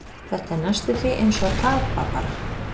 Þetta er næstum því eins og að tapa, bara.